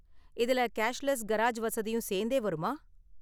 இதுல cashless garage வசதியும் சேர்ந்தே வருமா?